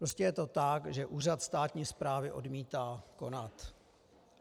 Prostě je to tak, že úřad státní správy odmítá konat.